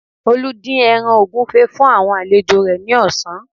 Olú dín ẹran ògúfe fún àwọn alejò rẹ̀ ní ọ̀sán